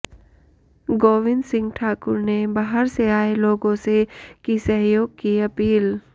गोविंद सिंह ठाकुर ने बाहर से आए लोगों से की सहयोग की अपील